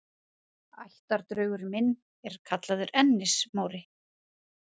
Ættardraugurinn minn er kallaður Ennis-Móri.